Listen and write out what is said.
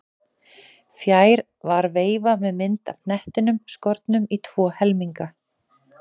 Fjær var veifa með mynd af hnettinum skornum í tvo helminga.